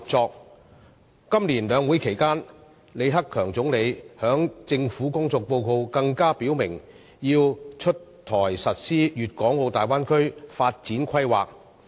在本年的兩會期間，李克強總理在政府工作報告中更表明粵港澳大灣區發展規劃要出台實施。